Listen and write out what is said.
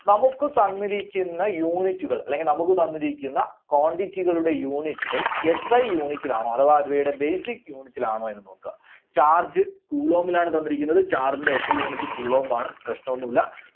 നമുക്ക് തന്നിരിക്കുന്ന unit കൾ അല്ലെങ്കിൽ നമുക്ക് തന്നിരിക്കുന്ന quantity കളുടെ unit കൾ SIunit ൽ ആണോ അഥവാ അവയുടെ basic unit ൽ ആണോ എന്ന് നോക്കുക. charge coulomb ൽ ആണ് തന്നിരിക്കുന്നത്. charge ന്റെ SIunit coulomb ആണ്. പ്രശ്നമൊന്നുമില്ല.